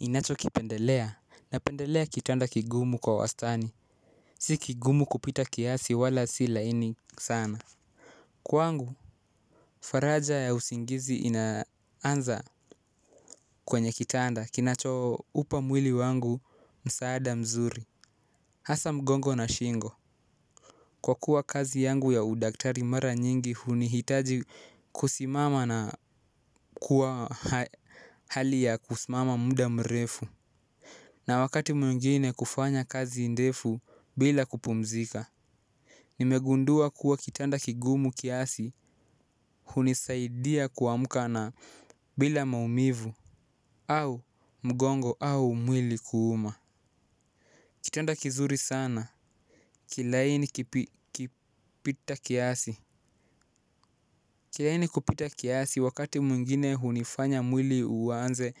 Ninachokipendelea, napendelea kitanda kigumu kwa wastani, si kigumu kupita kiasi wala si laini sana. Kwangu, faraja ya usingizi inaanza kwenye kitanda, kinachoupa mwili wangu msaada mzuri, hasa mgongo na shingo kwa kuwa kazi yangu ya udaktari mara nyingi hunihitaji kusimama na kuwa hali ya kusimama muda mrefu. Na wakati mwingine kufanya kazi ndefu bila kupumzika. Nimegundua kuwa kitanda kigumu kiasi, hunisaidia kuamka na bila maumivu au mgongo au mwili kuuma. Kitanda kizuri sana kilaini kipita kiasi. Kilaini kupita kiasi wakati mwingine hunifanya mwili uanze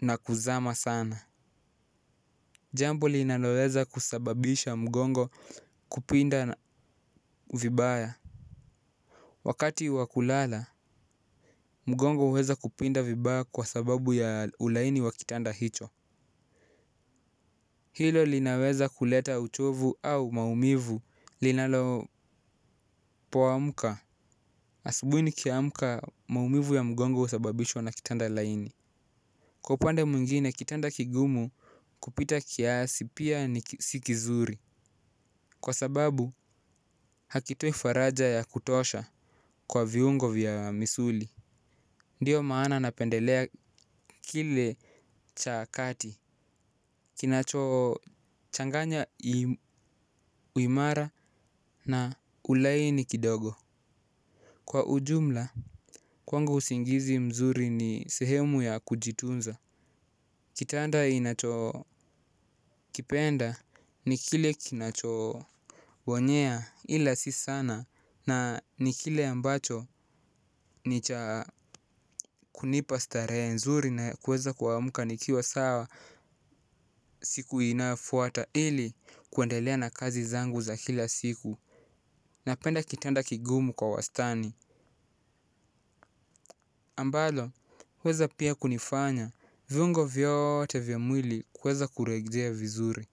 na kuzama sana jambo linaloweza kusababisha mgongo kupinda vibaya. Wakati wa kulala, mgongo huweza kupinda vibaya kwa sababu ya ulaini wa kitanda hicho. Hilo linaweza kuleta uchovu au maumivu linalo poamuka. Asubuhi nikiamka maumivu ya mgongo husababishwa na kitanda laini. Kwa upande mwingine, kitanda kigumu kupita kiasi pia ni si kizuri. Kwa sababu, hakitoi faraja ya kutosha kwa viungo vya misuli. Ndio maana napendelea kile cha kati kinachochanganya uimara na ulaini kidogo. Kwa ujumla kwangu usingizi mzuri ni sehemu ya kujitunza. Kitanda inachokipenda ni kile kinachobonyea ila si sana. Na ni kile ambacho ni cha kunipa starehe nzuri na kuweza kuamka nikiwa sawa siku inayofuata ili kuendelea na kazi zangu za kila siku. Napenda kitanda kigumu kwa wastani. Ambalo huweza pia kunifanya viungo vyote vya mwili kuweza kurejea vizuri.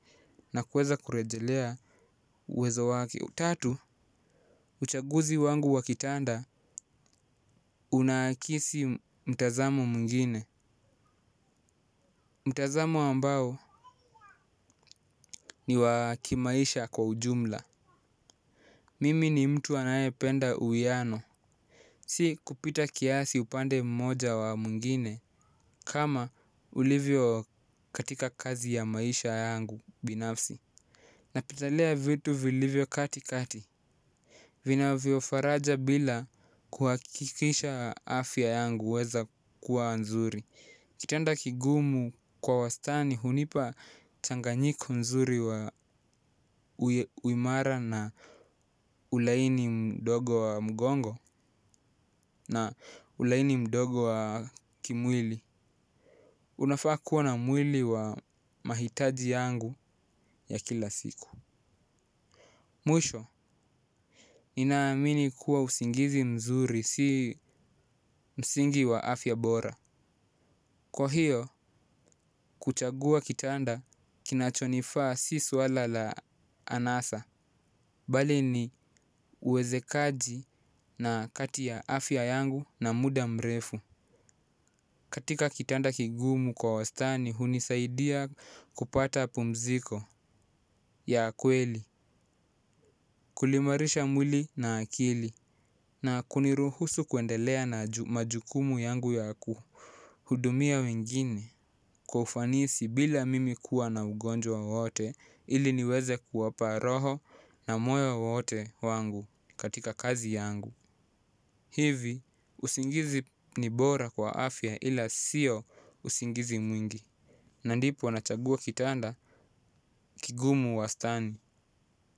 Na kuweza kurejelea uwezo wake. Tatu, uchaguzi wangu wa kitanda unaakisi mtazamo mwingine. Amo ambao ni wa kimaisha kwa ujumla. Mimi ni mtu anayependa uwiano. Si kupita kiasi upande mmoja wa mwingine. Kama ulivyo katika kazi ya maisha yangu binafsi. Napendelea vitu vilivyo katikati. Vinavyo faraja bila kuhakikisha afya yangu huweza kuwa nzuri. Kitanda kigumu kwa wastani hunipa changanyiko nzuri wa uimara na ulaini mdogo wa mgongo na ulaini mdogo wa kimwili. Unafaa kuwa na mwili wa mahitaji yangu ya kila siku. Mwisho, ninaamini kuwa usingizi mzuri si msingi wa afya bora. Kwa hiyo, kuchagua kitanda kinachonifaa si swala la anasa. Bali ni uwezekaji na kati ya afya yangu na muda mrefu. Katika kitanda kigumu kwa wastani hunisaidia kupata pumziko ya kweli. Kuliimarisha mwili na akili na kuniruhusu kuendelea na majukumu yangu yaku hudumia wengine kwa ufanisi bila mimi kuwa na ugonjwa wote ili niweze kuwapa roho na moyo wote wangu katika kazi yangu. Hivi usingizi ni bora kwa afya ila sio usingizi mwingi. Na ndipo nachagua kitanda kigumu wastani.